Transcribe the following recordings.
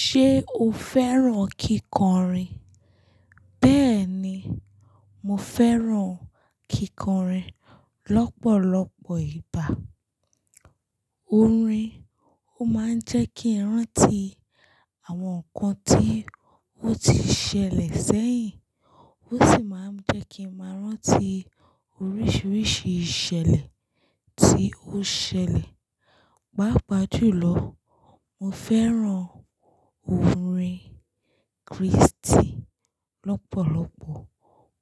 Ṣé o fẹ́ràn kíkọrin? Bẹ́ẹ̀ ni, mo fẹ́ràn kíkọrin lọ́pọ̀lọpọ̀ ìgbà. Orin ó máa ń jẹ́ kí n rántí àwọn nǹkan tí ó ti ṣẹlẹ̀ sẹ́yìn, ó sì máa ń jẹ́ kí n máa rántí oríṣiríṣi ìṣẹ̀lẹ̀ tí ó ṣẹlẹ̀. Pápa jùlọ, mo fẹ́ràn orin Kristi lọ́pọ̀lọpọ̀,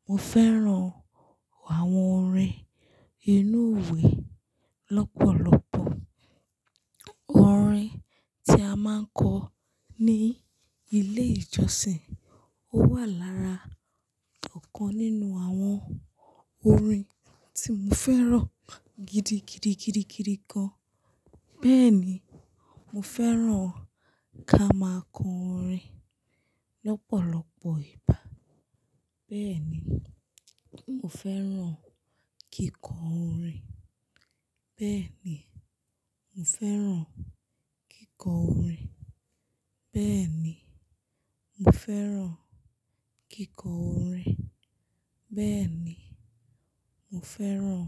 mo fẹ́ràn àwọn orin inú ìwé lọ́pọ̀lọpọ̀. Orin tí a máa ń kọ ní ilé ìjọsìn ó wà lára ọ̀kan nínú àwọn orin tí mo fẹ́ràn gidigidi, gidigidi gan. Bẹ́ẹ̀ ni, mo fẹ́ràn ká máa kọ orin lọ́pọ̀lọpọ̀ ìgbà. Bẹ́ẹ̀ ni, mo fẹ́ràn kíkọ orin. Bẹ́ẹ̀ ni, mo fẹ́ràn kíkọ orin. Bẹ́ẹ̀ ni, mo fẹ́ràn kíkọ orin. Bẹ́ẹ̀ ni, mo fẹ́ràn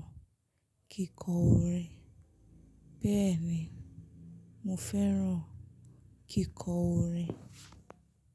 kíkọ orin. Bẹ́ẹ̀ ni, mo fẹ́ràn kíkọ orin.